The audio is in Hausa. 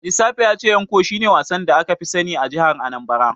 Ajisafe ya ce Ncho shine wasan da aka fi sani a jihar Anambra.